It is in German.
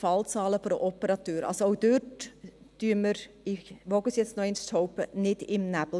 Also auch dort, ich wage es noch einmal zu behaupten, stochern wir nicht im Nebel.